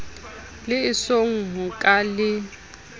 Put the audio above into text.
le esong ho ka le